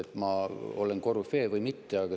Kas ma olen korüfee või mitte?